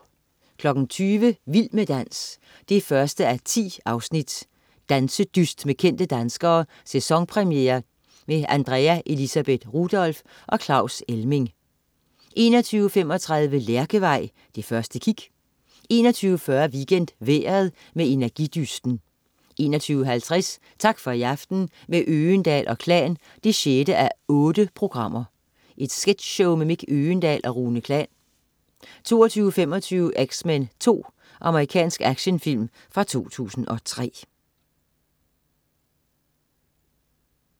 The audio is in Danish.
20.00 Vild med dans 1:10. Dansedyst med kendte danskere. Sæsonpremiere. Andrea Elisabeth Rudolph og Claus Elming 21.35 Lærkevej, det første kig 21.40 WeekendVejret. Med Energidysten 21.50 Tak for i aften, med Øgendahl & Klan 6:8. Sketchshow med Mick Øgendahl og Rune Klan 22.25 X-Men 2. Amerikansk actionfilm fra 2003